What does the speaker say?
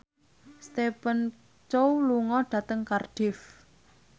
Stephen Chow lunga dhateng Cardiff